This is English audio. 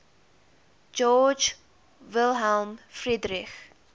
georg wilhelm friedrich